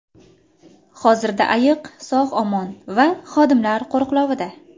Hozirda ayiq sog‘-omon va xodimlar qo‘riqlovida.